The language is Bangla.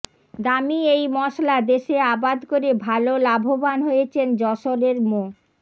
দামি এই মসলা দেশে আবাদ করে ভালো লাভবান হয়েছেন যশোরের মো